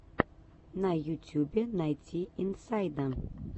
на ютюбе найти инсайда